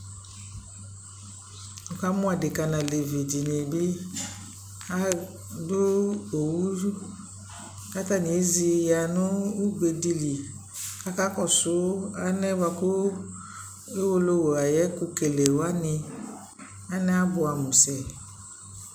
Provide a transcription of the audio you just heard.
Nikamʋ adika nʋ alevi dι nι bι adʋ owu zu kʋ atani ezi ya nʋ ugbe dι lι kʋ akakɔsu anɛyɛ bua kʋ Owolowu ayʋ ɛkʋkelewani anɛ abuamu sɛ